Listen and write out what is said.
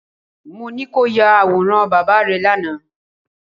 Mo ní kí o ya àwòrán bàbá rẹ lánàá